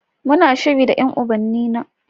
Muna shiri da ƴan ubannina.